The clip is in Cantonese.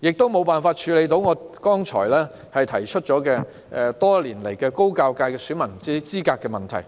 也無法處理我剛才提及的存在多年的高教界選民資格問題。